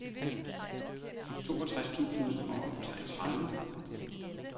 toogtres tusind og treogtredive